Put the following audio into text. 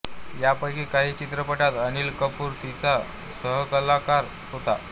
यापैकी काही चित्रपटांत अनिल कपूर तिचा सहकलाकार होता